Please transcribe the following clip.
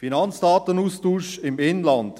Finanzdatenaustausch im Inland.